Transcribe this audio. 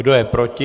Kdo je proti?